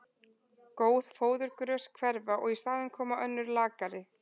Góð fóðurgrös hverfa og í staðinn koma önnur lakari.